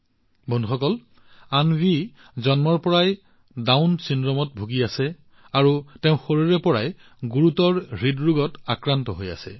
বন্ধুসকল অন্বী জন্মৰ পৰাই ডাউন চিণ্ড্ৰোমত ভুগি আছে আৰু তাই সৰুৰে পৰা গুৰুতৰ হৃদৰোগৰ সৈতে যুঁজি আছে